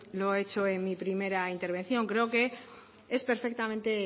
he hecho en mi primera intervención creo que es perfectamente